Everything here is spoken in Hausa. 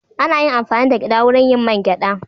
Ana yin amfani da gyada wurin yin man gyada.